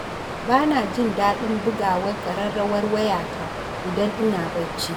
Ba na jin daɗin bugawar ƙararrawar wayata idan ina bacci.